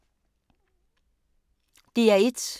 DR1